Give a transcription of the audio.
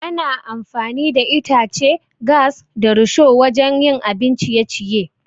Ana amfani da itace, gas, da risho wajan yin abin ciye-ciye